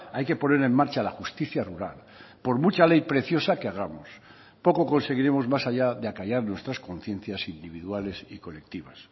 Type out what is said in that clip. hay que poner en marcha la justicia rural por mucha ley preciosa que hagamos poco conseguiremos más allá de acallar nuestras conciencias individuales y colectivas